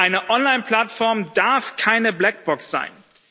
Eine Online Plattform darf keine Blackbox sein.